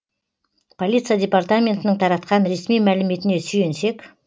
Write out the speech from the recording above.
полиция департаментінің таратқан ресми мәліметіне сүйенсек